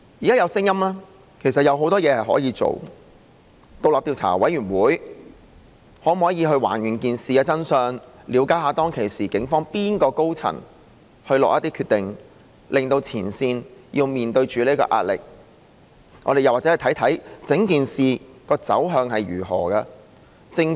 現時其實有很多事情可以做，包括成立獨立調查委員會，以還原事件的真相，了解當時警方哪位高層下決定，令前線要面對這壓力？或許也可看看整件事的走向是怎樣的？